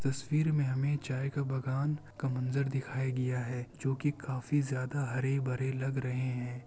तस्वीर में हमें चाय का बागान का मंजर दिखाई दिया है जो की काफी ज्यादा हरे-भरे लग रहे हैं।